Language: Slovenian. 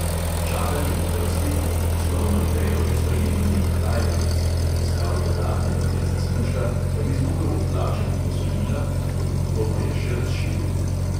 Čakanje v vrsti je v poslovno idejo že spremenil neki tajvanec, ki je iskal dodatne vire zaslužka, da bi zmogel odplačati posojila, ponudbo pa je še razširil.